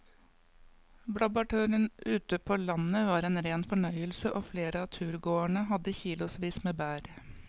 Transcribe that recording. Blåbærturen ute på landet var en rein fornøyelse og flere av turgåerene hadde kilosvis med bær.